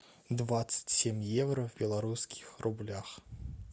двадцать семь евро в белорусских рублях